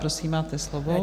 Prosím, máte slovo.